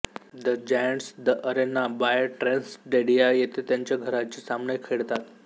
the Giants the Arena by TransStadia येथे त्यांचे घरचे सामने खेळतात